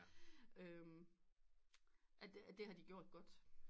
Det har de gjort godt